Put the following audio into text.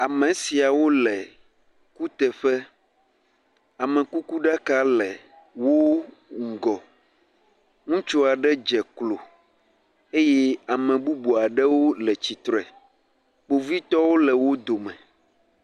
Ame siawo le kuteƒe, amekukuɖaka le wo ŋgɔ, ŋutsu aɖe dze klo eye ame bubu aɖewo le tsitre, kpovitɔwo le wo dome.